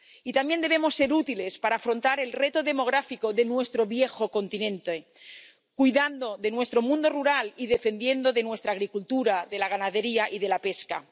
Y también debemos ser útiles para afrontar el reto demográfico de nuestro viejo continente, cuidando de nuestro mundo rural y defendiendo nuestra agricultura, la ganadería y la pesca.